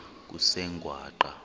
kusengwaqa